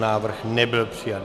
Návrh nebyl přijat.